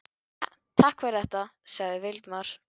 Jæja, takk fyrir þetta- sagði Valdimar.